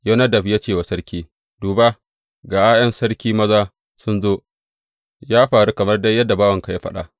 Yonadab ya ce wa Sarki, Duba, ga ’ya’yan sarki maza sun zo; ya faru kamar dai yadda bawanka ya faɗa.